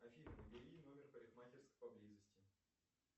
афина набери номер парикмахерской поблизости